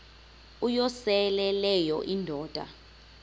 uyosele leyo indoda